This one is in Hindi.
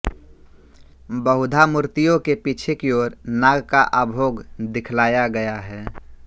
बहुधा मूर्तियों के पीछे की ओर नाग का आभोग दिखलाया गया है